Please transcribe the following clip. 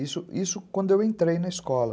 Isso isso quando eu entrei na escola.